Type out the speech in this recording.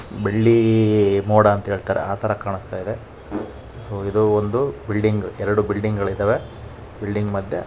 ಬಿಳಿ ಮೋಡ ಅಂತ ಹೇಳತರೆ ಆಥರ ಕಾಣಸ್ತಾ ಇದೆ. ಸೊ ಇದು ಒಂದು ಬಿಲ್ಡಿಂಗ್ ಎರಡು ಬಿಲ್ಡಿಂಗ್ ಗಳಿದ್ದಾವೆ. ಬಿಲ್ಡಿಂಗ್ ಮದ್ಯ--